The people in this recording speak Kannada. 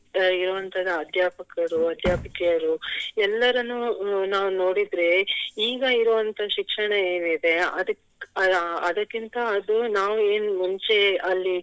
ಇರುವಂತ ಅಧ್ಯಾಪಕರು ಅಧ್ಯಾಪಕಿಯರು ಎಲ್ಲರನ್ನು ನಾವು ನೋಡಿದ್ರೆ ಈಗ ಇರುವಂತ ಶಿಕ್ಷಣ ಏನ್ ಇದೆ ಅದಕ್~ ಅಹ್ ಅದಕ್ಕಿಂತ ಅದು ನಾವು ಏನ್ ಮುಂಚೆ ಅಲ್ಲಿ